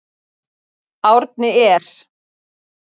Árni er